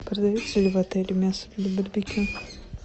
продается ли в отеле мясо для барбекю